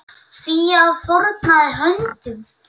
Fía fórnaði höndum.